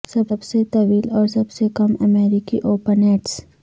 سب سے طویل اور سب سے کم امریکی اوپن ایٹس